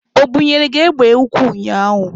O bunyere gị egbe ukwu ụnyaahụ?